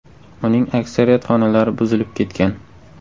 Uning aksariyat xonalari buzilib ketgan.